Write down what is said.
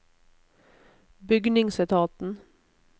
bygningsetaten